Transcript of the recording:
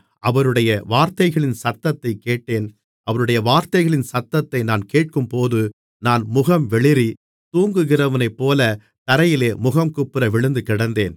அவருடைய வார்த்தைகளின் சத்தத்தைக் கேட்டேன் அவருடைய வார்த்தைகளின் சத்தத்தை நான் கேட்கும்போது நான் முகம்வெளிறி தூங்குகிறவனைப்போலத் தரையிலே முகங்குப்புற விழுந்து கிடந்தேன்